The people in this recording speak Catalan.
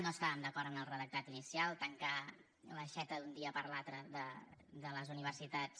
no estàvem d’acord en el redactat inicial tancar l’aixeta d’un dia per l’altre de les universitats